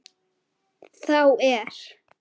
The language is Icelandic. þá er